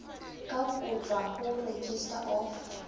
ka kotjwa ho registrar of